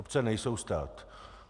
Obce nejsou stát.